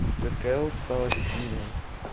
такая усталость сильная